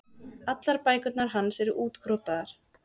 Allar bækurnar hans eru útkrotaðar.